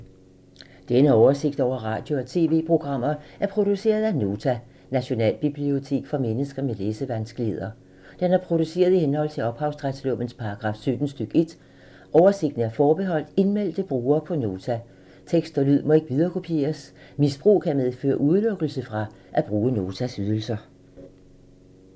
Denne oversigt over radio og TV-programmer er produceret af Nota, Nationalbibliotek for mennesker med læsevanskeligheder. Den er produceret i henhold til ophavsretslovens paragraf 17 stk. 1. Oversigten er forbeholdt indmeldte brugere på Nota. Tekst og lyd må ikke viderekopieres. Misbrug kan medføre udelukkelse fra at bruge Notas ydelser.